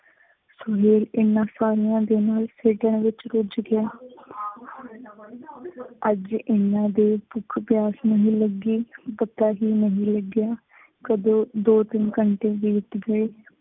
ਸੁਹੇਲ ਇਹਨਾਂ ਸਾਰਿਆਂ ਦੇ ਨਾਲ ਖੇਡਣ ਵਿਚ ਰੁੱਝ ਗਿਆ। ਅੱਜ ਐਨਾ ਦੇਰ ਭੁੱਖ ਪਿਆਸ ਨਹੀਂ ਲੱਗੀ ਕਿ ਪਤਾ ਹੀ ਨਹੀਂ ਲੱਗਿਆ, ਕਦੋਂ ਦੋ ਤਿੰਨ ਘੰਟੇ ਬੀਤ ਗਏ।